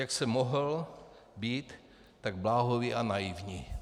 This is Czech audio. Jak jsem mohl být tak bláhový a naivní?